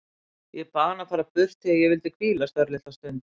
Ég bað hann að fara burt því ég vildi hvílast örlitla stund.